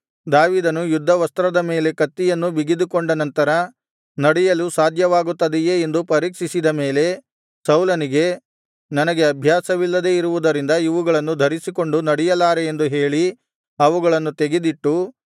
ದಾವೀದನು ಯುದ್ಧ ವಸ್ತ್ರದ ಮೇಲೆ ಕತ್ತಿಯನ್ನೂ ಬಿಗಿದುಕೊಂಡ ನಂತರ ನಡೆಯಲು ಸಾಧ್ಯವಾಗುತ್ತದೆಯೇ ಎಂದು ಪರೀಕ್ಷಿಸಿದ ಮೇಲೆ ಸೌಲನಿಗೆ ನನಗೆ ಅಭ್ಯಾಸವಿಲ್ಲದೆ ಇರುವುದರಿಂದ ಇವುಗಳನ್ನು ಧರಿಸಿಕೊಂಡು ನಡೆಯಲಾರೆ ಎಂದು ಹೇಳಿ ಅವುಗಳನ್ನು ತೆಗೆದಿಟ್ಟು